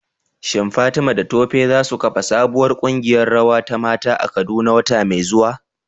Shin Fatima da Tope za su kafa sabuwar kungiyar rawa ta mata a Kaduna wata mai zuwa?